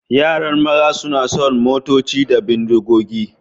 Yaran maza suna son motoci da bindigogi.